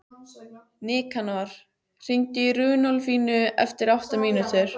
Nikanor, hringdu í Runólfínu eftir átta mínútur.